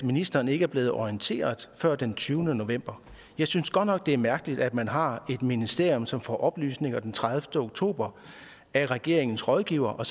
ministeren ikke blev orienteret før den tyvende november jeg synes godt nok det er mærkeligt at man har et ministerium som får oplysninger den tredivete oktober af regeringens rådgivere og